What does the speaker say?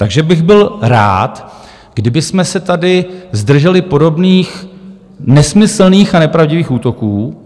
Takže bych byl rád, kdybychom se tady zdrželi podobných nesmyslných a nepravdivých útoků.